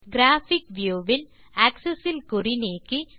graphic view வில் access இல் குறி நீக்கி